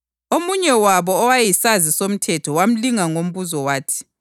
“Mfundisi, yiwuphi umlayo omkhulu kulayo yonke eMthethweni?”